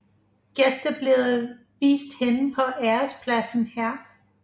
Gæster blev vist hen på ærespladsen her